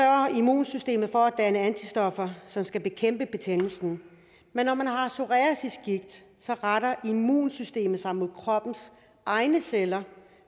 immunsystemet for at danne antistoffer som skal bekæmpe betændelsen men når man har psoriasisgigt retter immunsystemet sig mod kroppens egne celler